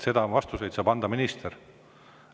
Vastuseid saab anda minister.